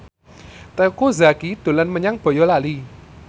Teuku Zacky dolan menyang Boyolali